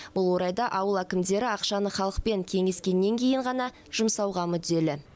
бұл орайда ауыл әкімдері ақшаны халықпен кеңескеннен кейін ғана жұмсауға мүдделі